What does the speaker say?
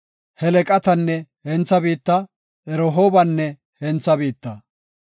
Helqatenne hentha biitta, Rehoobanne hentha biitta.